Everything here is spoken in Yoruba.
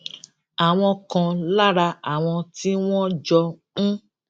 àwọn kan lára àwọn tí wón jọ ń